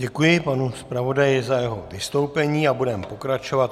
Děkuji panu zpravodaji za jeho vystoupení a budeme pokračovat.